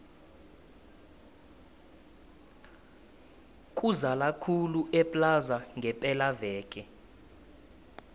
kuzala khulu eplaza ngepela veke